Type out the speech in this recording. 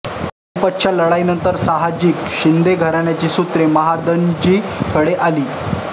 पानिपतच्या लढाईनंतर साहजिकच शिंदे घराण्याची सूत्रे महादजींकडे आली